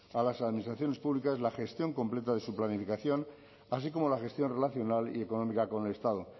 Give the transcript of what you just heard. a las administraciones públicas la gestión completa de su planificación así como la gestión relacional y económica con el estado